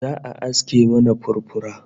Za'a aske mana furfura